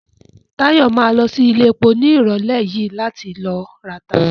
Táyọ̀ ma lọ sí iléepo ní ìrọ̀lẹ́ yìí láti ló rata